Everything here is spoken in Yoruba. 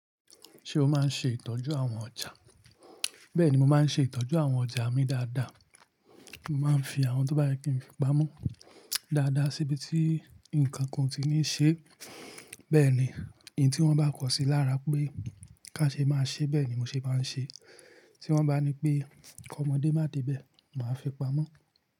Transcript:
Ṣé o máa ń ṣe ìtọ́jú àwọn ọjà? Bẹ́ẹ̀ni, mo máa ń ṣe ìtọ́jú àwọn ọjà mi dáadáa. Mo máa ń fi àwọn tó bá yẹ kí n fi pamọ́ dáadáa síbi tí nǹkan kan ó ti ní ṣe. Bẹ́ẹ̀ ni, èyí tí wọ́n bá kọ sí lára pé ká ṣe máa ṣe bẹ́ẹ̀ ni mo ṣe máa ń ṣe. Tí wọ́n bá ní pé kọ mọdé má dé ibẹ̀, màá fi pamọ́.